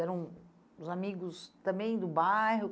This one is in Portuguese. Eram os amigos também do bairro?